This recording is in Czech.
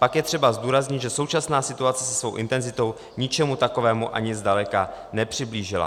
Pak je třeba zdůraznit, že současná situace se svou intenzitou ničemu takovému ani zdaleka nepřiblížila.